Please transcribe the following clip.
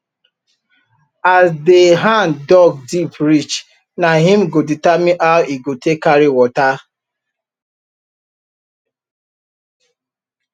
as de hand dug deep reach nah im go determine how e go take carry water